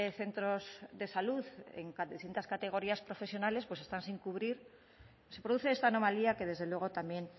centros de salud en distintas categorías profesionales están sin cubrir se produce esta anomalía que desde luego también